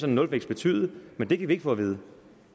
en nulvækst betyde men det kan vi ikke få at vide